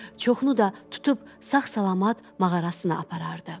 Çoxunu da tutub sağ-salamat mağarasına aparardı.